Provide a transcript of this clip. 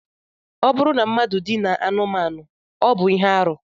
Ọ bụrụ na mmadụ dinaa anụmanụ, ọ bụ arụ